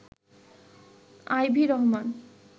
Ivy Rahman